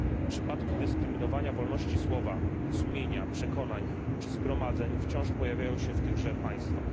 Przypadki dyskryminowania wolności słowa, sumienia, przekonań czy zgromadzeń wciąż pojawiają się w tychże państwach.